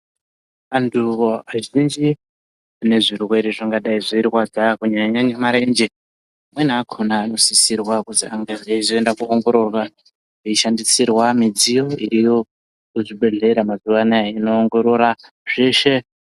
Anthu azhinji anezvirwere zvingadai zveirwadza kunyanyanye marenje amweni akhona anosisirwa kuzi azenge einda koongororwa veishandisirwa midziyo iriyo kuzvibhedhlera mazuwa anaya inoongorora zveshe.